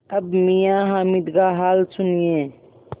अब मियाँ हामिद का हाल सुनिए